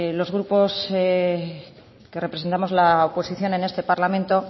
los grupos que representamos la oposición en este parlamento